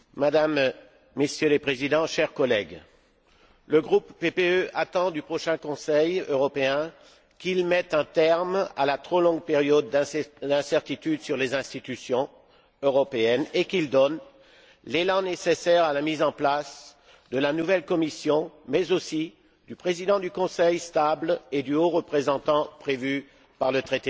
Monsieur le Président, chers collègues, le groupe PPE attend du prochain Conseil européen qu'il mette un terme à la trop longue période d'incertitude sur les institutions européennes et qu'il donne l'élan nécessaire à la mise en place de la nouvelle Commission, mais aussi du président du Conseil stable et du haut représentant prévu par le traité de Lisbonne.